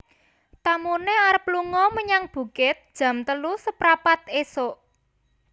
Tamune arep lungo menyang bukit jam telu seprapat isuk